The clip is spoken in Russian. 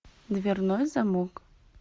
дверной замок